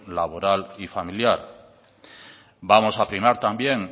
laboral y familiar vamos a primar también